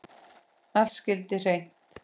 Allt skyldi hreint.